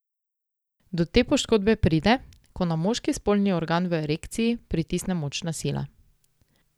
Do te poškodbe pride, ko na moški spolni organ v erekciji pritisne močna sila.